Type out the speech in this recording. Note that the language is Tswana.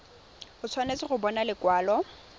o tshwanetse go bona lekwalo